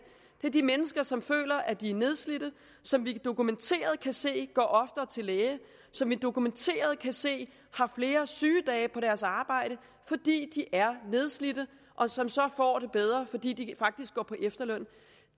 det er de mennesker som føler at de er nedslidte som vi dokumenteret kan se går oftere til lægen som vi dokumenteret kan se har flere sygedage på deres arbejde fordi de er nedslidte og som så får det bedre fordi de faktisk går på efterløn